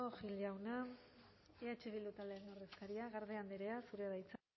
gil jauna eh bildu taldearen ordezkaria garde andrea zurea da hitza